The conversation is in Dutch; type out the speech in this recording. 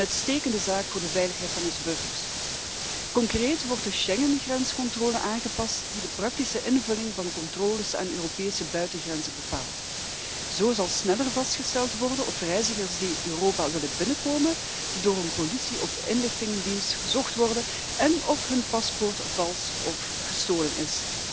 Een uitstekende zaak voor de veiligheid van onze burgers. Concreet wordt de Schengengrenscontrole aangepast die de praktische invulling van controles aan de Europese buitengrenzen bepaalt. Zo zal sneller vastgesteld worden of reizigers die Europa willen binnenkomen door een politie of inlichtingendienst gezocht worden en of hun paspoort vals of gestolen